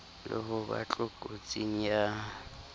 le ho ba tlokotsing ya